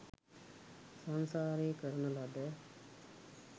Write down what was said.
සංසාරයේ කරන ලද